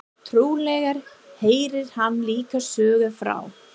Trúlega heyrir hann líka sögu frá